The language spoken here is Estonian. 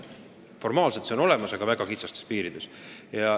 Formaalselt see järelkontroll on olemas, aga väga kitsastes piirides.